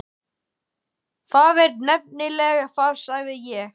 Það er nefnilega það, sagði ég.